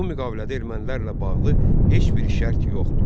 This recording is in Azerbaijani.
Bu müqavilədə ermənilərlə bağlı heç bir şərt yox idi.